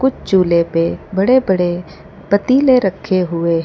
चूल्हे पे बड़े बड़े पतीले रखे हुएं है।